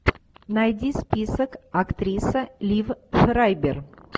найди список актриса лив фрайбер